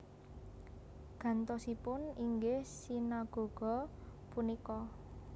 Gantosipun inggih sinagoga punika